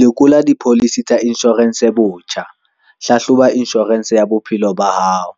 Lekola dipholisi tsa inshorense botjha - Hlahloba inshorense ya bophelo ba hao,